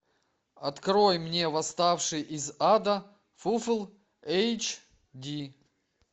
открой мне восставший из ада фулл эйч ди